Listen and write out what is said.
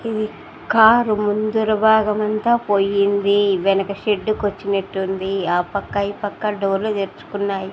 ఈ కారు ముందర భాగం అంతా పోయింది వెనక షెడ్ కు వచ్చినట్టుంది ఆ పక్క ఈ పక్క డోర్ లు తెరుచుకున్నాయి.